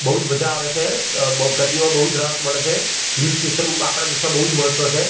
બોજ મજા આવે છે અ બો ગરમીમાં બૌજ રાહત મળે છે હિલ સ્ટેશન આપડા દેશ માં બૌજ મહત્વ છે.